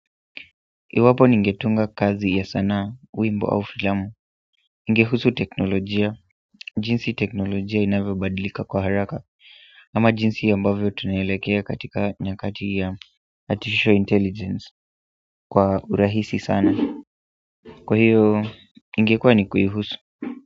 Iwapo ningetunga kazi ya sanaa, wimbo au filamu ningehusu teknolojia jinsi teknolojia inavyo badilika kwa haraka ama jinsi ambavyo tunaelekea katika nyakati ya artificial intelligence kwa urahisi sana kwa hiyo, ingekuwa ni kuihusu.